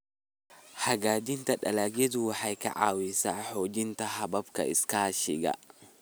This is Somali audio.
Hagaajinta dalagyadu waxay ka caawisaa xoojinta hababka iskaashiga.